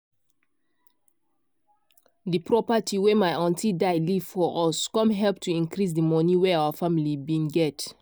the property wey my aunty die leave for us com help to increase di money wey our family bin get.